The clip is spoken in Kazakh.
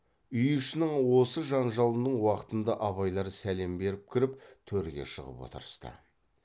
үй ішінің осы жанжалының уақытында абайлар сәлем беріп кіріп төрге шығып отырысты